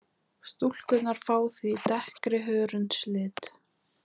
Stúlkurnar fá því dekkri hörundslit.